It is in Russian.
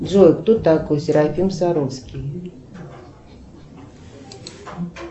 джой кто такой серафим саровский